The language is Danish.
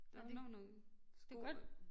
Der når nogle sko